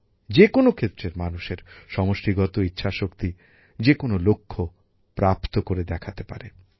যেকোনো ক্ষেত্রের মানুষের সমষ্টিগত ইচ্ছাশক্তি যেকোনো লক্ষ্য প্রাপ্ত করে দেখাতে পারে